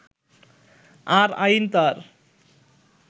আর আইন তার